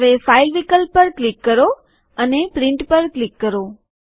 હવે ફાઈલ વિકલ્પ પર ક્લિક કરો અને પ્રિન્ટ પર ક્લિક કરો